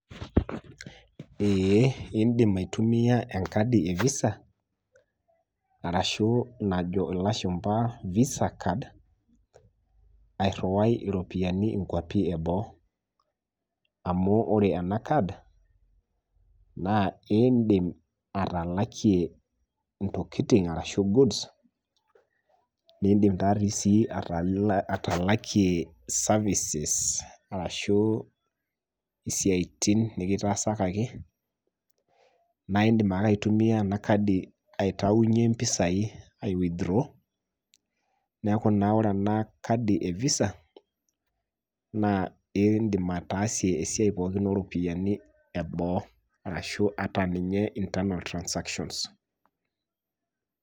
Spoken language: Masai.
ee idim aitumia enkadi e visa arashu najo ilashumpa visa card airiwai iropiyiani inkwapi eboo. amu ore ena card naa iidim atalakie intokitin arshu goods nidim sii atalakie services ashu isiatin nikitaasakaki, naaidim ake aitumia ena kadi aitayunye mpisai ai withdraw. neeku ore ena kadi e visa naa idim ataasie esiia pookin eboo arashu ata ninye internal transactions.